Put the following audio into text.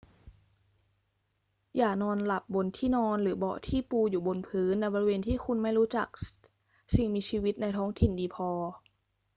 อย่านอนหลับบนที่นอนหรือเบาะที่ปูอยู่บนพื้นในบริเวณที่คุณไม่รู้จักสิ่งมีชีวิตในท้องถิ่นดีพอ